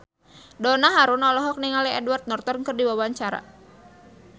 Donna Harun olohok ningali Edward Norton keur diwawancara